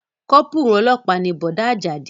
Kọ́pùrù ọlọ́pàá ni Bọ̀dá Àjàdí